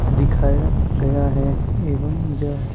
दिखाया गया है एवं यह--